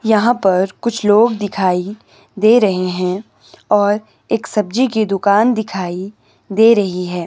यहां पर कुछ लोग दिखाई दे रहे हैं और एक सब्जी की दुकान दिखाई दे रही है।